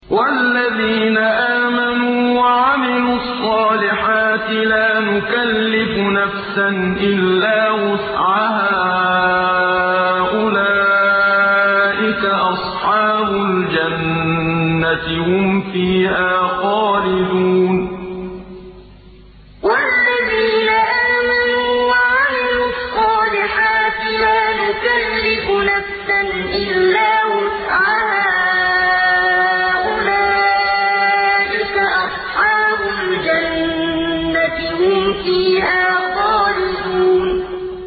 وَالَّذِينَ آمَنُوا وَعَمِلُوا الصَّالِحَاتِ لَا نُكَلِّفُ نَفْسًا إِلَّا وُسْعَهَا أُولَٰئِكَ أَصْحَابُ الْجَنَّةِ ۖ هُمْ فِيهَا خَالِدُونَ وَالَّذِينَ آمَنُوا وَعَمِلُوا الصَّالِحَاتِ لَا نُكَلِّفُ نَفْسًا إِلَّا وُسْعَهَا أُولَٰئِكَ أَصْحَابُ الْجَنَّةِ ۖ هُمْ فِيهَا خَالِدُونَ